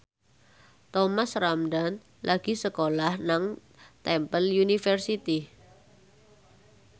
Thomas Ramdhan lagi sekolah nang Temple University